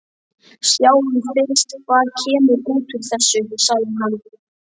Sjáum fyrst hvað kemur út úr þessu, sagði hann.